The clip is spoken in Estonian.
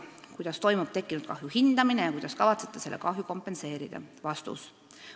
Kuidas toimub tekkinud kahju hindamine ja kuidas kavatsete selle kahju kompenseerida?